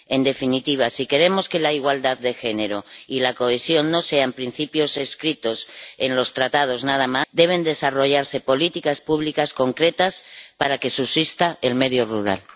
En definitiva, si queremos que la igualdad de género y la cohesión no sean solo principios escritos en los Tratados, deben desarrollarse políticas públicas concretas para que subsista el medio rural.